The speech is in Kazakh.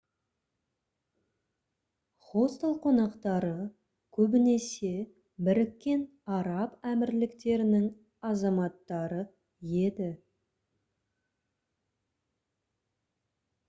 хостел қонақтары көбінесе біріккен араб әмірліктерінің азаматтары еді